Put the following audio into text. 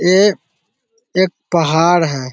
ये एक पहाड़ है |